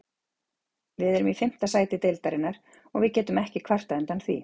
Við erum í fimmta sæti deildarinnar og við getum ekki kvartað undan því.